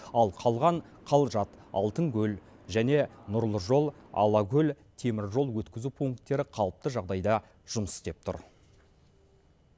ал қалған қалжат алтынкөл жол және нұр жолы алакөл теміржол өткізу пункттері қалыпты жағдайда жұмыс істеп тұр